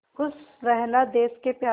खुश रहना देश के प्यारों